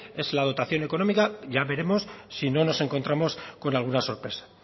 es la dotación económica ya veremos si no nos encontramos con alguna sorpresa